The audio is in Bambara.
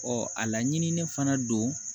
a laɲininen fana don